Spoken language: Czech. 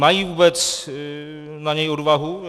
Mají vůbec na něj odvahu?